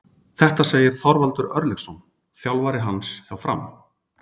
Þetta segir Þorvaldur Örlygsson, þjálfari hans hjá Fram.